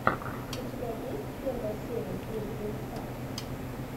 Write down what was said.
у тебя есть первая серия киры пинк ста